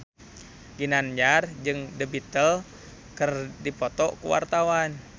Ginanjar jeung The Beatles keur dipoto ku wartawan